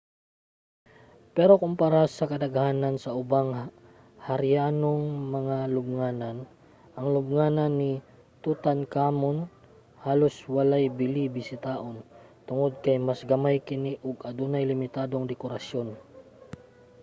pero kumpara sa kadaghanan sa ubang harianong mga lubnganan ang lubnganan ni tutankhamun halos walay bili bisitahon tungod kay mas gamay kini ug adunay limitadong dekorasyon